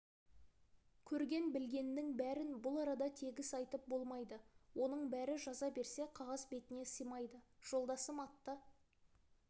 көрген білгеннің бәрін бұл арада тегіс айтып болмайды оның бәрі жаза берсе қағаз бетіне сыймайды жолдасым атты